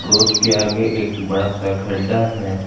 Road के आगे एक बड़ा सा गड्ढा है।